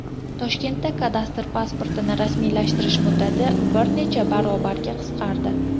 Toshkentda kadastr pasportini rasmiylashtirish muddati bir necha barobarga qisqardi.